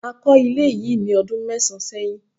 a ko ilé yi ní ọdún mẹsan sẹyìn